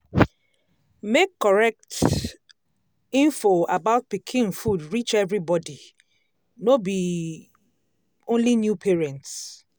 make correct um info about pikin food reach everybody um no be um only new parents.